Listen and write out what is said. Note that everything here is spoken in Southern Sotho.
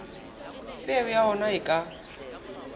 peo ya ona e ka